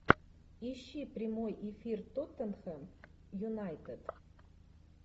ищи прямой эфир тоттенхэм юнайтед